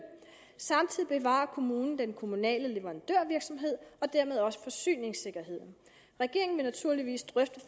samtidig bevarer kommunen den kommunale leverandørvirksomhed og dermed også forsyningssikkerheden regeringen vil naturligvis drøfte